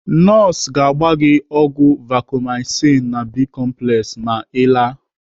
Nọọsụ ga-agba gị ọgwụ Vacomycin na Bi-complex ma Ị laa.